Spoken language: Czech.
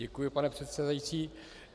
Děkuji, pane předsedající.